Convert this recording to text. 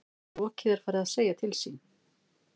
Rokið farið að segja til sín